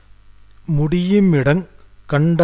தன்னுடைய ஐம்பது இருக்கைகள் கொண்ட விமானங்க்கள்